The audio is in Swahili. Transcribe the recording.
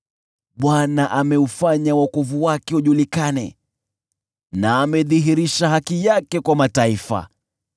Bwana ameufanya wokovu wake ujulikane na amedhihirisha haki yake kwa mataifa.